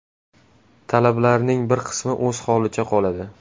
Talablarning bir qismi o‘z holicha qoladi.